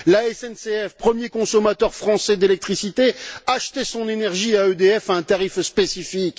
La SNCF, premier consommateur français d'électricité, achetait son énergie à EDF à un tarif spécifique.